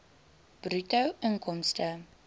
bruto inkomste